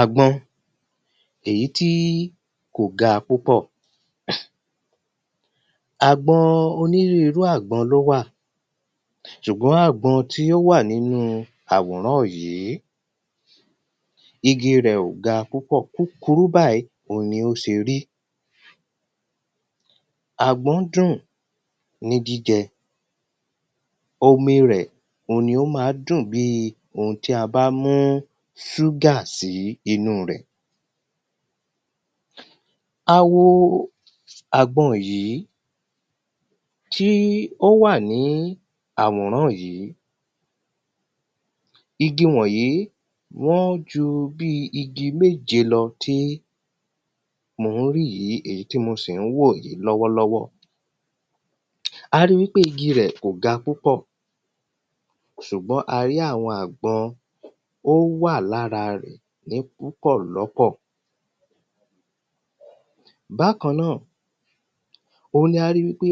Àgbọn èyí tí kò ga púpọ̀ Àgbọn onírúurú àgbọn ni ó wà ṣùgbọ́n àgbọn tí ó wà nínú àwòrán yìí igi rẹ̀ ò ga púpọ̀ kúkurú báyì òun ni ó ṣe rí Àgbọn dùn ní jíjẹ Omi rẹ̀ òun ni ó ma ń dùn bíi oun tí a bá mú sugar sí inú rẹ̀ A wo àgbọn yìí tí ó wà ní àwòrán yìí Igi wọ̀nyìí wọ́n ju bíi igi méje lọ tí mò ń rí yìí èyí tí mo sì ń wò yìí lọ́wọ́lọ́wọ́ A ri wípé igi rẹ̀ kò ga púpọ̀ ṣùgbọ́n a rí àwọn àgbọn ó wà lára rẹ̀ ní púpọ̀ lọ́pọ̀ Bákan náà òun ni a ri wípé